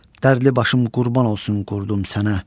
Dərdli başım qurban olsun qurdum sənə.